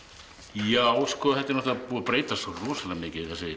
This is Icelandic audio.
já þetta er búið að breytast svo rosalega mikið þessi